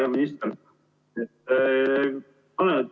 Hea minister!